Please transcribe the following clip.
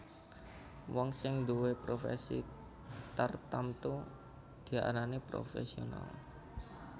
Wong sing nduwé profèsi tartamtu diarani profèsional